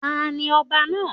Tani ọba náà?